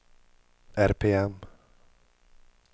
RPM